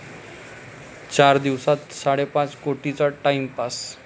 चारच दिवसांत साडेपाच कोटींचा 'टाइमपास'